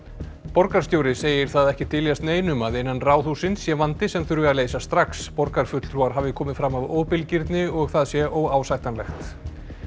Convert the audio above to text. borgarstjóri segir það ekki dyljast neinum að innan Ráðhússins sé vandi sem þurfi að leysa strax borgarfulltrúar hafi komið fram af óbilgirni og það sé óásættanlegt